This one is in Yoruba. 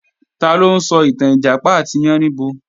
Taló ń sọ ìtàn Ìjàpá àti Yáníbo?